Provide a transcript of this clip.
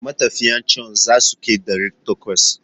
Matafiyan can za su kai ɗari takwas?